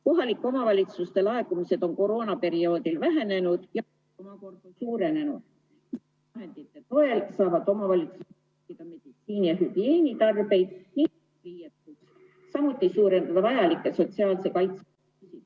Kohalike omavalitsuste laekumised on koroonaperioodil vähenenud ja ... omakorda suurenenud vahendite toel saavad omavalitsused ... meditsiini- ja hügieenitarbeid ... samuti suurendada vajalikke sotsiaalse kaitse ...